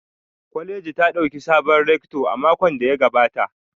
Kwaleji ta dauki sabon rector a makon da ya gabata